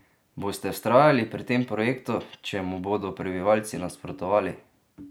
Boste vztrajali pri tem projektu, če mu bodo prebivalci nasprotovali?